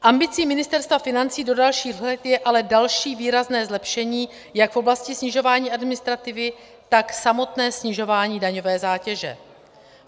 Ambicí Ministerstva financí do dalších let je ale další výrazné zlepšení jak v oblasti snižování administrativy, tak samotné snižování daňové zátěže.